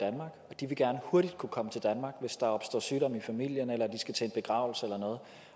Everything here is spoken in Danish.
de vil gerne hurtigt kunne komme til danmark hvis der opstår sygdom i familien eller de skal til en begravelse eller noget